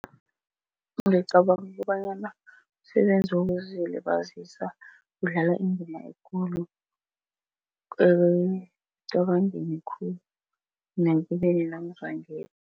Ngicabanga kobanyana umsebenzi wokuzilibazisa udlala indima ekulu ekucabangeni khulu